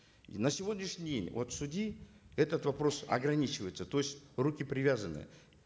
и на сегодняшний день вот судьи этот вопрос ограничивается то есть руки привязаны